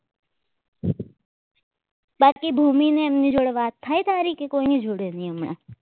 બાકી ભૂમિ અને એમની જોડે વાત થાય તારી કે કોઈની જોડે નહીં હમણાં